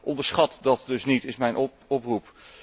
Onderschat dat dus niet, is mijn oproep.